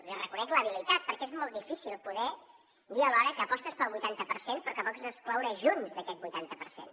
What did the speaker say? li reconec l’habilitat perquè és molt difícil poder dir alhora que apostes pel vuitanta per cent però que vols excloure junts d’aquest vuitanta per cent